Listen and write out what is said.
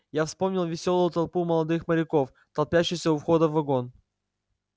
я вспомнил весёлую толпу молодых моряков толпящуюся у входа в вагон